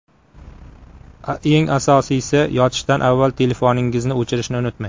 Eng asosiysi, yotishdan avval telefoningizni o‘chirishni unutmang.